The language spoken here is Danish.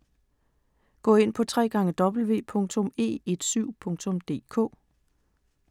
Gå ind på www.e17.dk